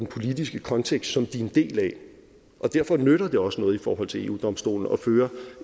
politiske kontekst som de er en del af og derfor nytter det også noget i forhold til eu domstolen at føre